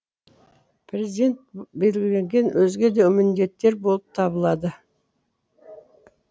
президент белгілеген өзге де міндеттер болып табылады